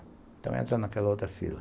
Então eu entro naquela outra fila.